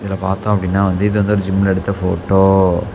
இதுல பாத்தோ அப்படின்னா வந்து இது வந்து ஒரு ஜிம்ல எடுத்த ஃபோட்டோ .